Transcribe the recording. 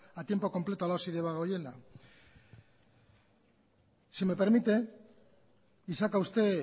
a tiempo completo la osi debagoiena si me permite y saca usted